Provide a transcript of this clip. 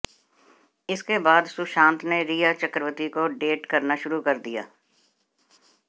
इसके बाद सुशांत ने रिया चक्रवर्ती को डेट करना शुरू कर दिया